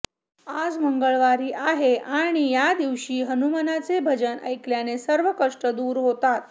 आज मंगळवारी आहे आणि या दिवशी हनुमानाचे भजन ऐकल्याने सर्व कष्ट दूर होतात